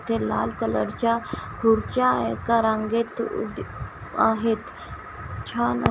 ते लाल कलर च्या खुर्च्या एका रांगेत आहेत छान --